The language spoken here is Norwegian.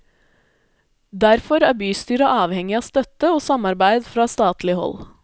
Derfor er bystyret avhengig av støtte og samarbeid fra statlig hold.